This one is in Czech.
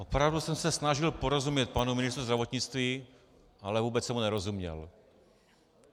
Opravdu jsem se snažil porozumět panu ministru zdravotnictví, ale vůbec jsem mu nerozuměl.